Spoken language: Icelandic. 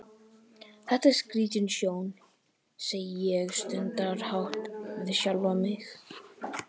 Þetta var skrítin sjón, segi ég stundarhátt við sjálfa mig.